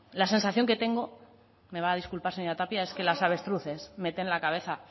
la sensación que tengo me va a disculpar señora tapia es que los avestruces meten la cabeza